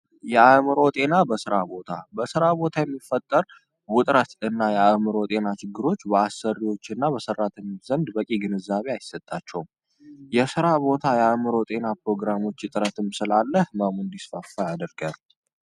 የአምሮ ጤና በሥራ ቦታ በሥራ ቦታ የሚፈጠር ውጥረት እና የአእምሮ ጤና ችግሮች በአሰሪዎች እና በሠራት የሚዘንድ በቂ ግንዛቤ አይሰጣቸውም የሥራ ቦታ የእምሮ ጤና ፕሮግራሞች ይጥረትም ስላለህ መሙ እንዲስፈፋ ያደርገር፡፡